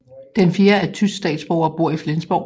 Den fjerde er tysk statsborger og bor i Flensborg